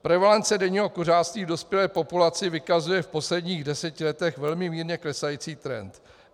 Prevalence denního kuřáctví v dospělé populaci vykazuje v posledních deseti letech velmi mírně klesající trend.